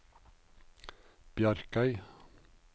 Bjarkøy